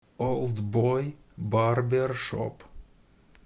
олдбой барбершоп